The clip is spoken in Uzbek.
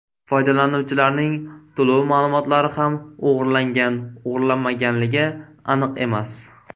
Foydalanuvchilarning to‘lov ma’lumotlari ham o‘g‘irlangan-o‘g‘irlanmaganligi aniq emas.